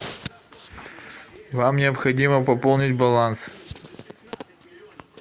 вам необходимо пополнить баланс